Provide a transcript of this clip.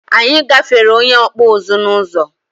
Anyị gáfèrè onye Okpuzu n'uzo